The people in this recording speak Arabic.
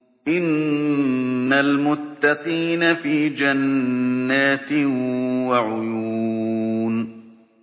إِنَّ الْمُتَّقِينَ فِي جَنَّاتٍ وَعُيُونٍ